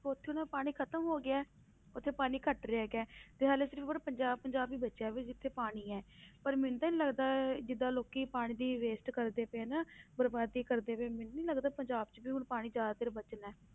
ਉੱਥੇ ਉਹਨਾਂ ਦਾ ਪਾਣੀ ਖ਼ਤਮ ਹੋ ਗਿਆ ਹੈ, ਉੱਥੇ ਪਾਣੀ ਘੱਟ ਰਿਹਾ ਹੈਗਾ, ਤੇ ਹਾਲੇ ਸਿਰਫ਼ ਉਰੇ ਪੰਜਾਬ ਪੰਜਾਬ ਹੀ ਬਚਿਆ ਵੀ ਜਿੱਥੇ ਪਾਣੀ ਹੈ ਪਰ ਮੈਨੂੰ ਤੇ ਨੀ ਲੱਗਦਾ ਜਿੱਦਾਂ ਲੋਕੀ ਪਾਣੀ ਦੀ waste ਕਰਦੇ ਪਏ ਨੇ ਬਰਬਾਦੀ ਕਰਦੇ ਪਏ ਨੇ ਮੈਨੂੰ ਨੀ ਲੱਗਦਾ ਪੰਜਾਬ 'ਚ ਵੀ ਹੁਣ ਪਾਣੀ ਜ਼ਿਆਦਾ ਦੇਰ ਬਚਣਾ ਹੈ।